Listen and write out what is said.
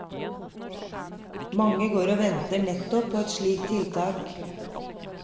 Mange går og venter nettopp på et slikt tiltak.